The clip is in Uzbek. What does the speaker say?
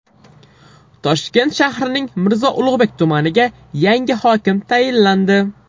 Toshkent shahrining Mirzo Ulug‘bek tumaniga yangi hokim tayinlandi.